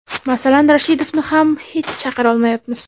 Masalan, Rashidovni ham hech chaqira olmayapmiz.